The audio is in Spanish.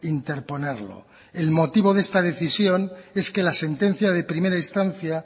interponerlo el motivo de esta decisión es que la sentencia de primera instancia